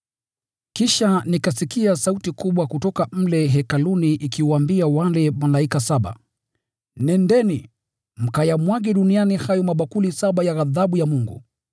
Kisha nikasikia sauti kubwa kutoka mle Hekaluni ikiwaambia wale malaika saba, “Nendeni, mkayamwage duniani hayo mabakuli saba ya ghadhabu ya Mungu.”